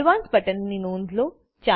ADVANCEDબટન ની નોંધ લો